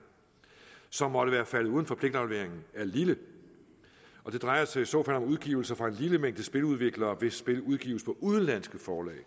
som måtte være faldet uden for pligtafleveringen er lille det drejer sig i så fald om udgivelser fra en lille mængde spiludviklere hvis spil udgives på udenlandske forlag det